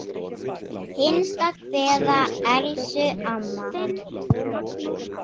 HINSTA KVEÐA Elsku amma.